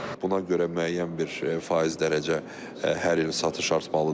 Buna görə müəyyən bir faiz dərəcə hər il satış artmalıdır.